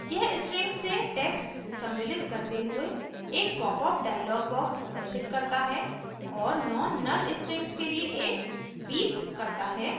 यह string से text सम्मिलित करते हुए एक popअप dialog box प्रदर्शित करता है और non null strings के लिए एक beep करता है